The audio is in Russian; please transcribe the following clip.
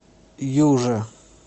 юже